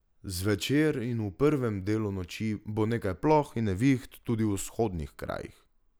Zvečer in v prvem delu noči bo nekaj ploh in neviht tudi v vzhodnih krajih.